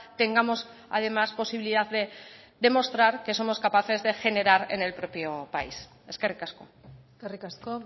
tengamos además posibilidad de demostrar que somos capaces de generar en el propio país eskerrik asko eskerrik asko